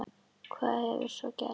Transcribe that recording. Hvað hefur svo gerst?